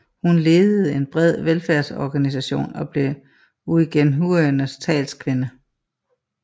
Hun ledede en bred velfærdsorganisation og blev uighurenes talskvinde